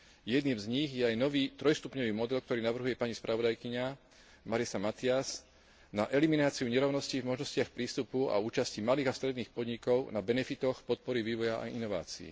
Jedným z nich je aj nový trojstupňový model, ktorý navrhuje pani spravodajkyňa Marisa Matias, na elimináciu nerovností v možnostiach prístupu a účasti malých a stredných podnikov na benefitoch podpory vývoja a inovácií.